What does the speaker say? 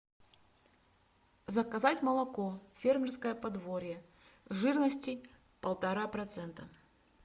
заказать молоко фермерское подворье жирности полтора процента